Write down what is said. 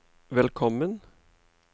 velkommen